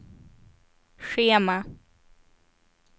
schema